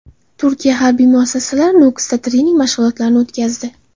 Turkiya harbiy mutaxassislari Nukusda trening mashg‘ulotlarini o‘tkazdi .